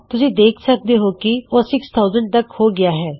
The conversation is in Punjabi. ਤੁਸੀਂ ਦੇਖ ਸਕਦੇ ਹੋਂ ਕੀ ਉਹ 6000 ਤੱਕ ਹੋ ਗੀਆ ਹੈ